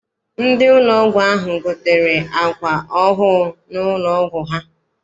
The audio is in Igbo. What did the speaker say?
Ndị ụlọ ahụ gotere àkwà ọhụụ n'ụlọ ọgwụ ha.